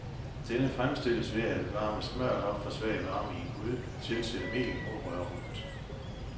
Denne fremstilles ved at varme smørret op for svag varme i en gryde, tilsætte mel og røre rundt.